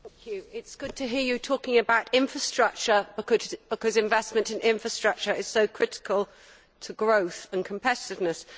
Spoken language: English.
It is good to hear you talking about infrastructure, because investment in infrastructure is so critical to growth and competitiveness.